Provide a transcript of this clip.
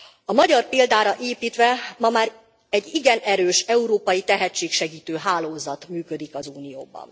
A magyar példára építve, ma már egy igen erős európai tehetségsegítő hálózat működik az Unióban.